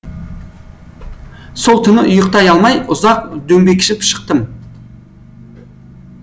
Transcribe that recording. сол түні ұйықтай алмай ұзақ дөңбекшіп шықтым